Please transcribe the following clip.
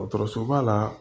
Dɔgɔtɔrɔsoba la